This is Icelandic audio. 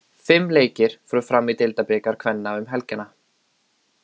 Fimm leikir fóru fram í deildabikar kvenna um helgina.